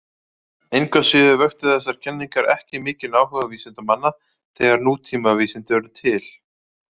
Engu að síður vöktu þessar kenningar ekki mikinn áhuga vísindamanna þegar nútímavísindi urðu til.